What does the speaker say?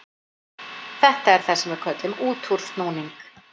Þetta er það sem við köllum útúrsnúning.